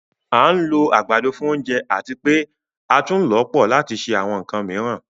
À n lò agbádọ̀ fún ọ̀ǹjẹ̀ àti pe̩ àtún ǹ lọ pọ̀ lati ṣe àwọn ǹkàn miiran